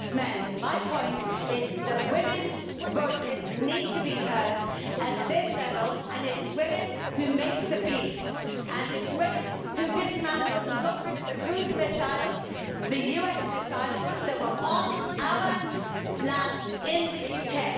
It is men, and my point is that women's voices need to be heard at this level and it is women who make the peace and it is women who dismantled and got rid of the cruise missiles, the US missiles, they were on our land in the UK.